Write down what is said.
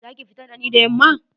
Za ki fita da ni da yamma?